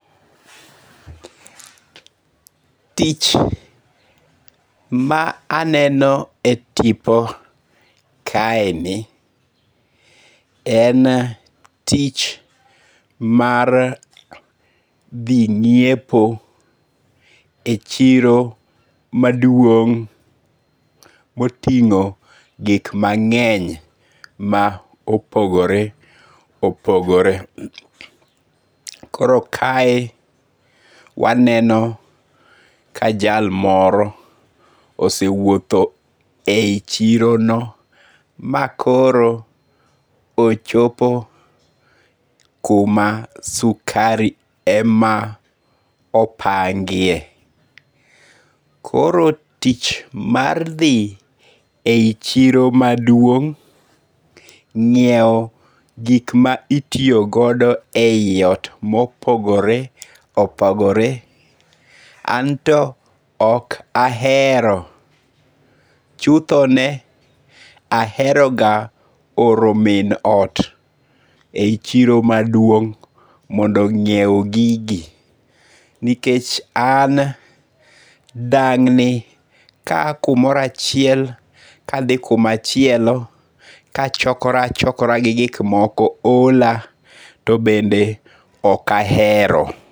Tich ma aneno e tipo kaeni, en tich mar dhi ngi'epo e chiro maduong' moting'o gik mange'ny ma opogore opogore. Koro kae waneno ka jal moro osewuotho e yi chirono ma koro ochopo kuma sukari ema opangie. Koro tich ma dhi eyi chiro maduong' nyiewo gik ma itiyogodo e yi ot ma opogore opogore anto ok ahero chuthone aheroga oro min ot e yi chiro maduong' nyiewo gigi nikech an dang'ni kaya kumoro achiel kathi kumachielo kachokora chokora gi gik moko hola to bende ok ahero.